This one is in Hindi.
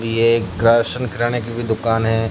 ये एक क्राशन किराने की भी दुकान हैं।